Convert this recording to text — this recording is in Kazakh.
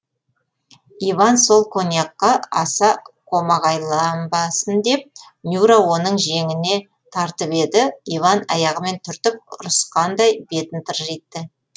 иван сол коньякқа аса қомағайланбасын деп нюра оның жеңіне тартып еді иван аяғымен түртіп ұрысқандай бетін тыржитты